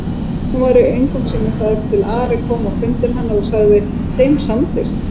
Hún var í öngum sínum þar til Ari kom á fund hennar og sagði:-Þeim samdist!